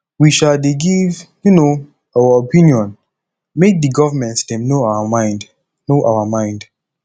we um dey give um our opinion make di givernment dem know our mind know our mind